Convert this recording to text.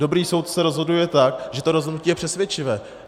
Dobrý soudce rozhoduje tak, že to rozhodnutí je přesvědčivé.